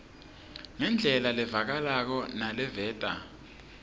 ngendlela levakalako naleveta